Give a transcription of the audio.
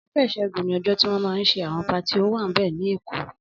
Ọjọ iṣẹgùn ni ọjọ tiwọn mà n ṣé awọn páàtí ówàmbẹ̀ ni Ékó